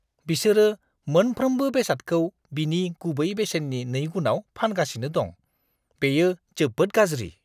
बिसोरो मोनफ्रोमबो बेसादखौ बिनि गुबै बेसेननि नैगुनआव फानगासिनो दं। बेयो जोबोद गाज्रि।